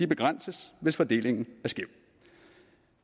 begrænses hvis fordelingen er skæv